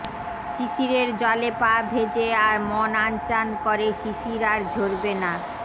শিশিরের জলে পা ভেজে আর মন আনচান করে শিশির আর ঝরবে না